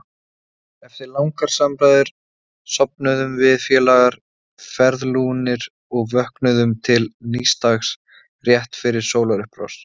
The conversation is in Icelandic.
Eftir langar samræður sofnuðum við félagar ferðlúnir og vöknuðum til nýs dags rétt fyrir sólarupprás.